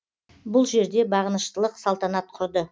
бұл жерде бағыныштылық салтанат құрды